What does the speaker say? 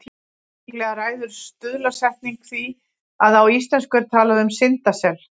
Líklega ræður stuðlasetning því að á íslensku er talað um syndasel.